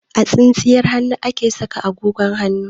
A tsintsiyar hannu ake saka agogon hannu.